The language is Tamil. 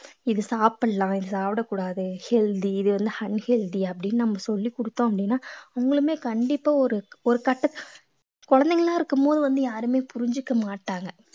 இது சாப்பிடலாம் இது சாப்பிடக் கூடாது healthy இது வந்து unhealthy அப்படின்னு நம்ம சொல்லிக் கொடுத்தோம் அப்படின்னா அவங்களுமே கண்டிப்பா ஒரு கட்ட~குழந்தைகளா இருக்கும்போது வந்து யாருமே புரிஞ்சுக்க மாட்டாங்க